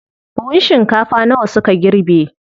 Buhun shinkafa nawa suka girbe?